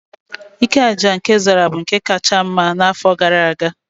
Ike aja aja nke Zara bụ nke kacha mma n'afọ gara aga